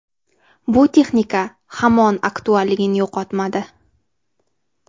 Bu texnika hamon aktualligini yo‘qotmadi.